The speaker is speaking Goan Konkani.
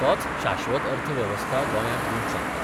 तोच शाश्वत अर्थवेवस्था गोंयांक दिवंक शकता.